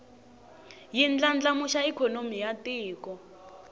yi ndlandlamuxa ikhonomi ya tiko